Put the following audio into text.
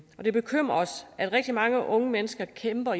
og det bekymrer os at rigtig mange unge mennesker kæmper